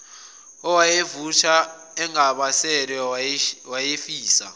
owayevutha engabaselwe wayefisa